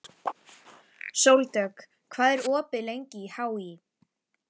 Sóldögg, hvað er opið lengi í HÍ?